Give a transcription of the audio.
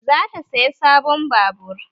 Za ta saya sabon babur